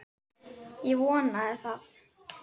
Ég vonaði það.